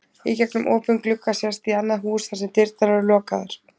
Í gegnum opinn glugga sést í annað hús þar sem dyrnar eru lokaðar.